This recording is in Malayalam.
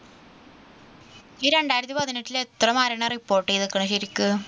ഈരണ്ടായിരത്തി പതിനെട്ടില് എത്ര മരണം report ചെയ്തിരിക്കുന്നു ശരിക്കും